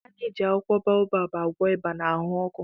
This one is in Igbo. A na-eji akwụkwọ baobab agwọ ịba na ahụ ọkụ